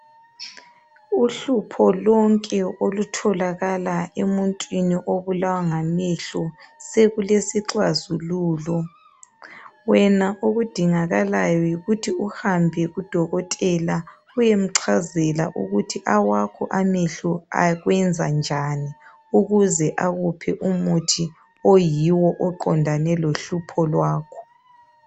Uhlupho lonke olutholakala emuntwini obulawa ngamehlo sekulesixazululo wena okudingaka layo yikuthi uhambe kudokotela uyemchazela ukuthi awakho amehlo akwenza njalo ukuze akuphe umuthi oyiwo oqondane lohlupho lwakho